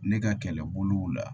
Ne ka kɛlɛbolo la